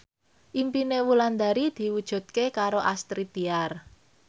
impine Wulandari diwujudke karo Astrid Tiar